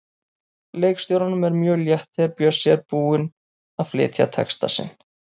Leikstjóranum er mjög létt þegar Bjössi er búinn að flytja texta sinn.